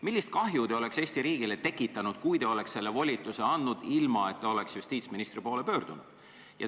Millist kahju te oleks Eesti riigile tekitanud, kui te oleksite selle volituse andnud, ilma et te oleksite justiitsministri poole pöördunud?